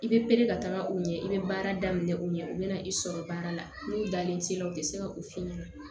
I bɛ pere ka taga u ɲɛ i bɛ baara daminɛ u ɲɛ u bɛ na i sɔrɔ baara la n'u dalen t'i la u tɛ se ka u f'i ɲɛna